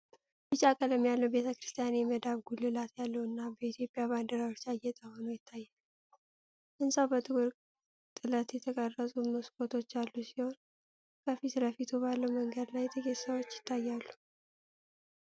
ቢጫ ቀለም ያለው ቤተ ክርስቲያን የመዳብ ጉልላት ያለው እና በኢትዮጵያ ባንዲራዎች ያጌጠ ሆኖ ይታያል። ሕንፃው በጥቁር ጥለት የተቀረጹ መስኮቶች ያሉት ሲሆን፤ ከፊት ለፊቱ ባለው መንገድ ላይ ጥቂት ሰዎች ይታያሉ።